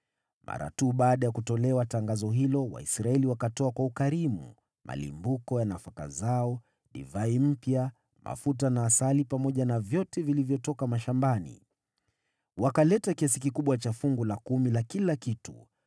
Mara tu baada ya kutolewa tangazo hilo, Waisraeli wakatoa kwa ukarimu malimbuko ya nafaka zao, divai mpya, mafuta na asali pamoja na vyote vilivyotoka mashambani. Wakaleta kiasi kikubwa cha fungu la kumi la kila kitu.